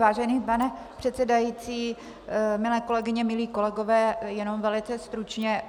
Vážený pane předsedající, milé kolegyně, milí kolegové, jenom velice stručně.